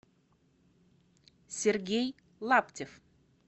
сергей лаптев